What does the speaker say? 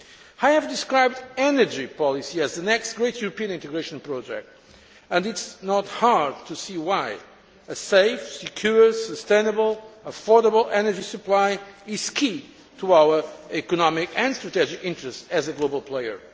I have described energy policy as the next great European integration project and it is not hard to see why a safe, secure, sustainable, affordable energy supply is key to our economic and strategic interests as a global player.